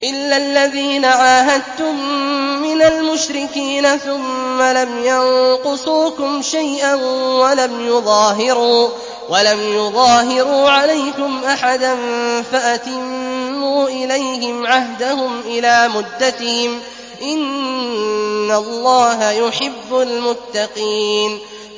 إِلَّا الَّذِينَ عَاهَدتُّم مِّنَ الْمُشْرِكِينَ ثُمَّ لَمْ يَنقُصُوكُمْ شَيْئًا وَلَمْ يُظَاهِرُوا عَلَيْكُمْ أَحَدًا فَأَتِمُّوا إِلَيْهِمْ عَهْدَهُمْ إِلَىٰ مُدَّتِهِمْ ۚ إِنَّ اللَّهَ يُحِبُّ الْمُتَّقِينَ